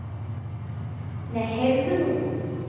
Nei, heyrðu nú!